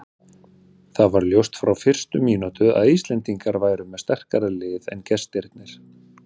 Það var ljóst frá fyrstu mínútum að Íslendingar væru með sterkara lið en gestirnir.